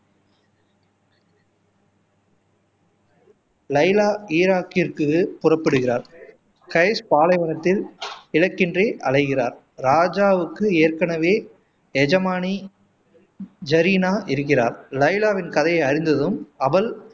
லைலா ஈராக்கிற்கு புறப்படுகிறார் கைஸ் பாலைவனத்தில் இலக்கின்றி அழைகிறார் ராஜாவுக்கு ஏற்கனவே எஜமானி ஜரினா இருக்கிறார் லைலாவின் கதையை அறிந்ததும் அவள்